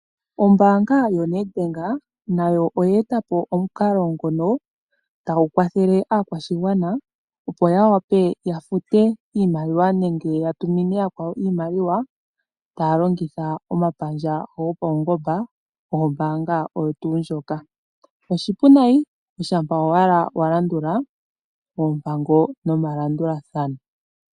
Ombaanga yoNedbank nayo oyeetapo omukalo tagu kwatha aakwashigwana opo yawape yafute iimaliwa nenge yatume iimaliwa kaantu , taya longitha omapandja gopaungomba gombaanga oyo tuu ndjoka. Oshipu nayi, ongele owala walandula oompango nomalandulathano.